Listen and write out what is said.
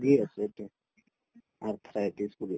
আছে arthritis বুলি কই